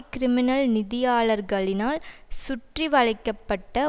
criminal நிதியாளர்களினால் சுற்றிவளைக்க பட்ட